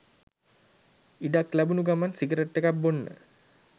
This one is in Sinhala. ඉඩක් ලැබුනු ගමන් සිගරට් එකක් බොන්න